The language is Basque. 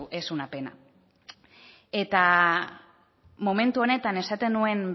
es una pena eta momentu honetan esaten nuen